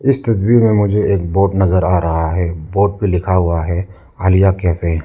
इस तस्वीर में मुझे एक बोर्ड नजर आ रहा है बोर्ड पे लिखा हुआ है आलिया कैफे ।